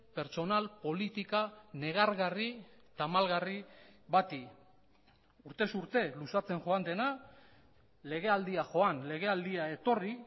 pertsonal politika negargarri tamalgarri bati urtez urte luzatzen joan dena legealdia joan legealdia etorri